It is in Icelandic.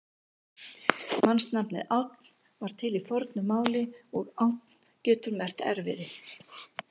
Mannsnafnið Ánn var til í fornu máli og ánn getur merkt erfiði.